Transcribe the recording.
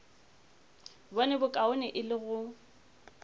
bone bokaone e le go